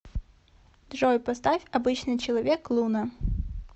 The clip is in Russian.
джой поставь обычный человек луна